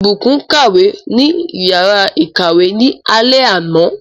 Ìbùkún kàwé ní yàrá ìkàwé ní alé àná.